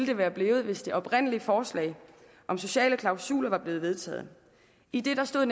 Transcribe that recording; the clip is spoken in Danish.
det være blevet hvis det oprindelige forslag om sociale klausuler var blevet vedtaget i det stod